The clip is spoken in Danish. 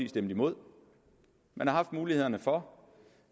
stemt imod man har haft mulighederne for